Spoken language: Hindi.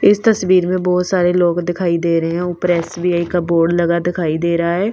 इस तस्वीर में बहुत सारे लोग दिखाई दे रहे हैं ऊपर एस_बी_आई का बोर्ड लगा दिखाई दे रहा है।